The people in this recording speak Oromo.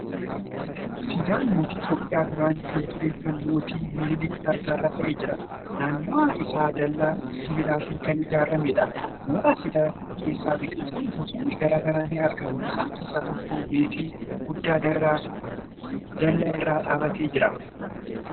Siidaan mootii Itiyoophiyaa duraanii kan ture kan mootii miniilik farda irra taa'ee jira. Naannawaan isaa dallaa sibiilatiin kan ijaarameedha. Mooraa siidaa keessa biqiltuun gosoonni garagaraa ni argamu. Isaan keessaa tokko meexxii guddaan dallaa irra dhaabbatee jira.